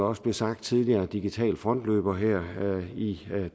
også blev sagt tidligere digitale frontløbere her i